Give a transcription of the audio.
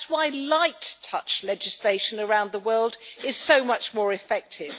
That is why light touch legislation around the world is so much more effective.